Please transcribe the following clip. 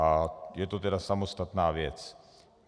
A je to tedy samostatná věc.